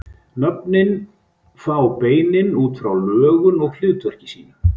Nöfnin fá beinin út frá lögun og hlutverki sínu.